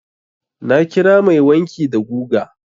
Na kira mai wanki da guga.